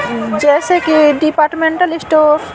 अः जैसे कि departmental store --